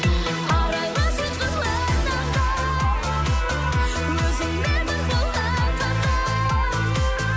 арайлы сиқырлы таңдай өзіңмен бір болған қандай